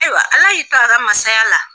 Ayiwa ala y'i to a ka mansaya la